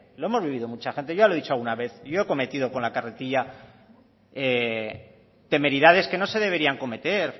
lo hemos vivido mucha gente yo ya lo he dicho alguna vez yo he cometido con la carretilla temeridades que no se deberían de cometer